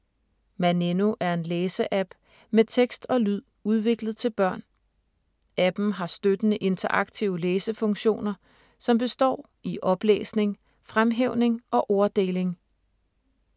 Maneno er en læse-app med tekst og lyd udviklet til børn. Appen har støttende interaktive læsefunktioner, som består i oplæsning, fremhævning og orddeling.